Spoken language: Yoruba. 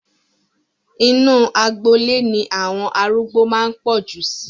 Inu agboolé ni àwọn arúgbó máa ń pọ̀ jù sí